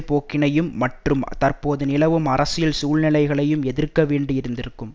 போக்கினையும் மற்றும் தற்போது நிலவும் அரசியல் சூழ்நிலைகளையும் எதிர்க்க வேண்டியிருந்திருக்கும்